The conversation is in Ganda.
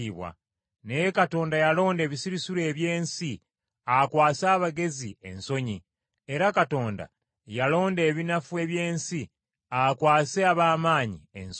Naye Katonda yalonda ebisirusiru eby’ensi, akwase abagezi ensonyi; era Katonda yalonda ebinafu eby’ensi, akwase ab’amaanyi ensonyi,